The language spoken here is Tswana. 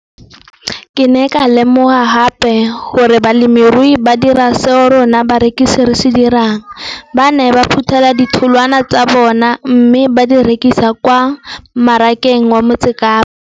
Ke ne ka lemoga gape gore balemirui ba dira seo rona barekisi re se dirang - ba ne ba phuthela ditholwana tsa bona mme ba di rekisa kwa marakeng wa Motsekapa.